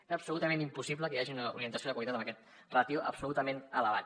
és absolutament impossible que hi hagi una orientació de qualitat amb aquesta ràtio absolutament elevada